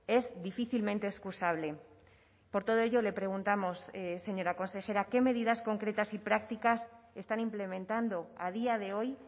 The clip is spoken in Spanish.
es difícilmente excusable por todo ello le preguntamos señora consejera qué medidas concretas y prácticas están implementando a día de hoy